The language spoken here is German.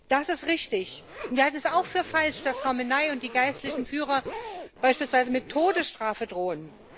Das ist richtig, und wir halten es auch für falsch, das Khamenei und die geistlichen Führer beispielsweise mit der Todesstrafe drohen.